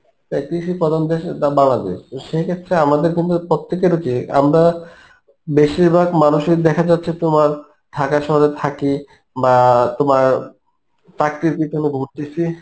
তাই কৃষি প্রথম দেশের দাম বাড়াবে তো সে ক্ষেত্রে আমাদের কিন্তু প্রত্যেকের উচিত আমরা বেশিরভাগ মানুষের দেখা যাচ্ছে তোমার ঢাকা শহরে থাকি বা তোমার চাকরির পিছনে ঘুরতেছি